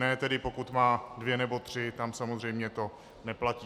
Ne tedy pokud má dvě nebo tři, tam samozřejmě to neplatí.